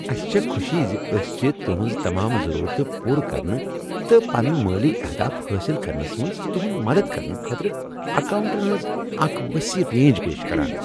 اسہ چھ خوشی ز أسۍ چھ تہنٛزٕ تمام ضرورتہٕ پورٕ کرنہٕ تہٕ پنن مٲلی اہداف حٲصل کرنس منٛز تُہند مدد کرنہٕ خٲطرٕ اکاؤنٹن ہنٛز اکھ وسیع رینج پیش کران۔